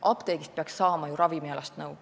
Apteegist peaks saama ju ravimialast nõu.